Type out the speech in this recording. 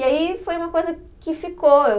E aí foi uma coisa que ficou.